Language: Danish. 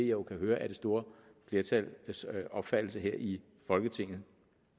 jo kan høre er det store flertals opfattelse her i folketinget